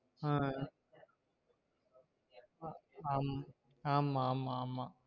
ஆஹ் ஆம ஆமா ஆமா